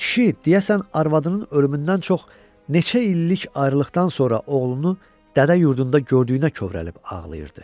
Kişi, deyəsən, arvadının ölümündən çox neçə illik ayrılıqdan sonra oğlunu dədə yurdunda gördüyünə kövrəlib ağlayırdı.